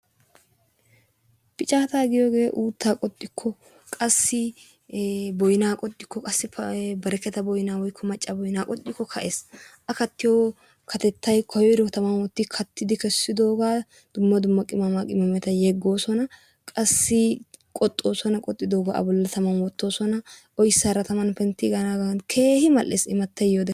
Piccata giyooge uutta qoxxikko, boynna qoxikko, qasso bereketa boynna woykko macca boynna qoxxikko ka'ees. a kaattiyo katettay qoxxidooga dumma dumma qimaqmameta yeegoosona, qassi qoxxoosona, a bolli tammani woottosona oyssara tamman penttidaagan keehin mal''ees immatay yiiyoode.